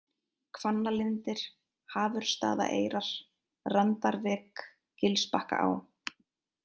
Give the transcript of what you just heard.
Hvannalindir, Hafursstaðaeyrar, Randarvik, Gilsbakkaá